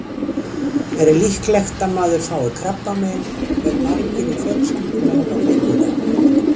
Er líklegt að maður fái krabbamein ef margir í fjölskyldunni hafa fengið það?